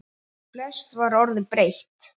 Flest var orðið breytt.